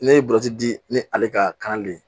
Ne ye burusi di ni ale ka kan de ye